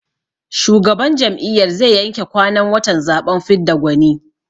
Shugaban jam'iyyar zai yanke kwanan watan zaɓen fidda gwani.